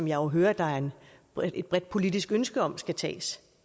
jo hører der er et bredt bredt politisk ønske om skal tages